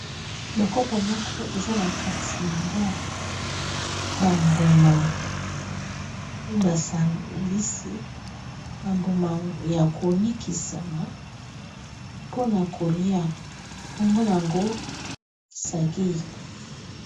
Ba kopo moko eza na kati nango ba mbuma, ba sangisi ba mbuma ya ko nikisama mpona kolia nkombo nango sagi.